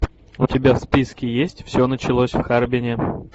у тебя в списке есть все началось в харбине